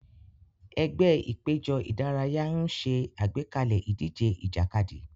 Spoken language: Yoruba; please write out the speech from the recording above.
Ẹgbẹ́ ìpéjọ ìdárayá ń ṣe àgbékalẹ̀ ìdíje ìjàkadì.